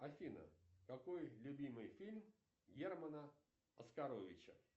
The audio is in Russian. афина какой любимый фильм германа оскаровича